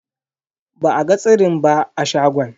Ba a ga tsirin ba a shagon.